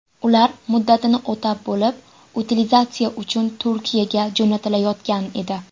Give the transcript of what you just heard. Ular muddatini o‘tab bo‘lib, utilizatsiya uchun Turkiyaga jo‘natilayotgan edi.